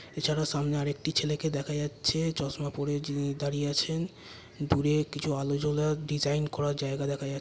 এছাড়া সামনে আরেকটি ছেলেকে দেখা যাচ্ছে চশমা পড়ে যিনি দাঁড়িয়ে আছেন দূরে কিছু আলো জ্বলা ডিজাইন জায়গা দেখা--